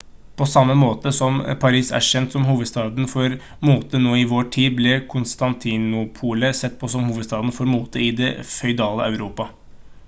på samme måten som paris er kjent som hovedstaden for mote nå i vår tid ble konstantinopel sett på som hovedstaden for mote i det føydale europa